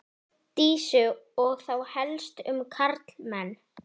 Dísu og þá helst um karlmenn.